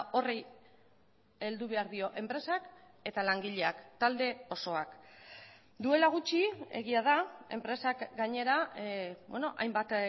horri heldu behar dio enpresak eta langileak talde osoak duela gutxi egia da enpresak gainera hainbat